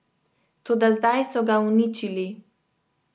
Toda zdaj so ga uničili.